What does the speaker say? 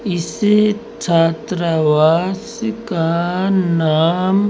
इस छात्रावास का नाम--